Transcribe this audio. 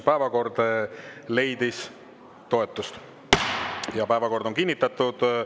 Päevakord leidis toetust, päevakord on kinnitatud.